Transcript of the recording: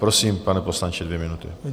Prosím, pane poslanče, dvě minuty.